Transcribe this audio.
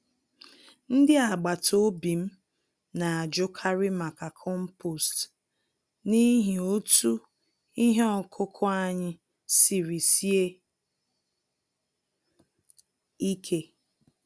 Ndị agbata obi m n'ajụkarị maka compost n'ihi otú ihe ọkụkụ anyị siri sie ike.